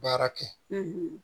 Baara kɛ